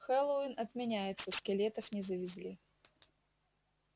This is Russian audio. хэллоуин отменяется скелетов не завезли